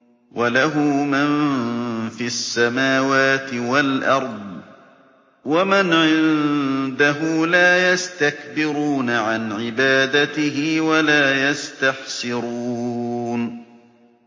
وَلَهُ مَن فِي السَّمَاوَاتِ وَالْأَرْضِ ۚ وَمَنْ عِندَهُ لَا يَسْتَكْبِرُونَ عَنْ عِبَادَتِهِ وَلَا يَسْتَحْسِرُونَ